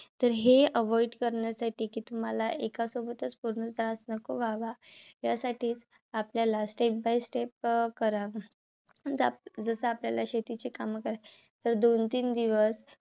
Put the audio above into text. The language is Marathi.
तर हे avoid करण्यासाठी कि तुम्हाला एकासोबतच पूर्ण त्रास नको व्हावा. यासाठी आपल्याला step by step अं करावे. जसं आपल्याला शेतीची काम करायला जर दोन तीन दिवस